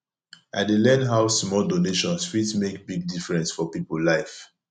i dey learn how small donations fit make big difference for people life